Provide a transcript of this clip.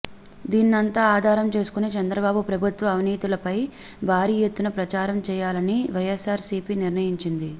దీన్నంతా ఆధారం చేసుకొని చంద్రబాబు ప్రభుత్వ అవినీతిపై భారీఎత్తున ప్రచారం చేయాలని వైఎస్సార్సీపీ నిర్ణయించింది